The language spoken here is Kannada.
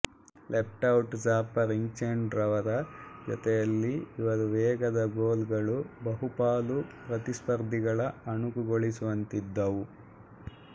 ಲೆಫ್ಟ್ಔಟ್ ಜಾಫರ್ ಇಕ್ಚೆಂಡು ರವರ ಜೊತೆಯಲ್ಲಿ ಇವರ ವೇಗದ ಗೋಲ್ ಗಳು ಬಹುಪಾಲು ಪ್ರತಿಸ್ಪರ್ಧಿಗಳ ಅಣಕುಗೊಳಿಸುವಂತಿದ್ದವು